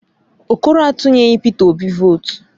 Okoro a tunyeghị Peter Obi votu